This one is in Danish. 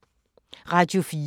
Radio 4